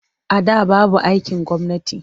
A da babu aikin gwamnati.